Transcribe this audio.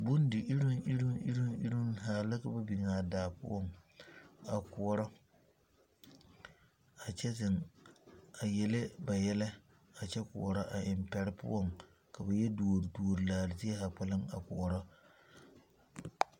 Bondi iruŋ iruŋ zaa la ka ba de biŋ a daa poɔ a koɔrɔ a kyɛ zeŋ a yele ba yɛlɛ a kyɛ koɔrɔ a eŋ pɛre poɔŋ ka ba yɔ duori duori laare zie zaa kpɛlem a koɔrɔ.